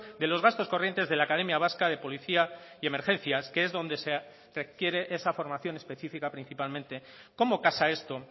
de los gastos corrientes de la academia vasca de policía y emergencias que es donde se requiere esa formación específica principalmente cómo casa esto